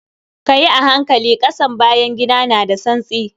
Kayi a hankali, ƙasan bayan gida na da tsantsi.